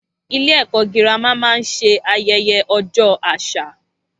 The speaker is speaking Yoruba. Ilé ẹ̀kọ́ girama máa ń ṣe ayẹyẹ ojo àṣà